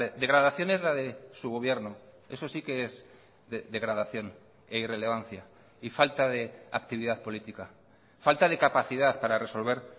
degradación es la de su gobierno eso sí que es degradación e irrelevancia y falta de actividad política falta de capacidad para resolver